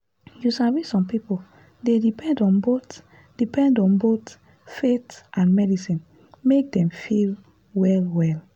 you sabi some people dey depend on both depend on both faith and medicine make dem feel well well.